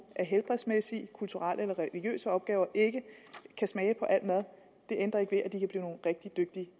af helbredsmæssige kulturelle eller religiøse årsager ikke kan smage på al mad det ændrer ikke ved at de kan blive nogle rigtig dygtige